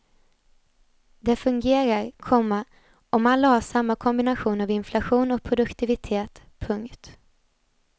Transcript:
Det fungerar, komma om alla har samma kombination av inflation och produktivitet. punkt